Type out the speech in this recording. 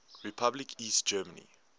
republic east germany